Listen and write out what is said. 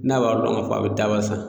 N'a b'a dɔn k'a fɔ a bɛ daba san